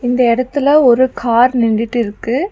இந்த எடத்துல ஒரு கார் நின்டுட்டிருக்கு.